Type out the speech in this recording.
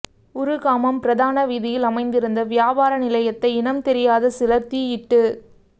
உறுகாமம் பிரதான வீதியில் அமைந்திருந்த வியாபார நிலையத்தையே இனம்தெரியாத சிலர் தீயிட்டு